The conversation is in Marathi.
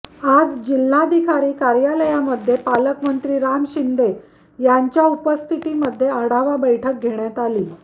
आज जिल्हाधिकारी कार्यालयामध्ये पालकमंत्री राम शिंदे यांच्या उपस्थितीमध्ये आढावा बैठक घेण्यात आली